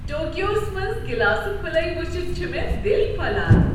ٹوکیوہس منٛز گلاسہٕ پھٕلے وچھتھ چھ مےٚ دل پھۄلان۔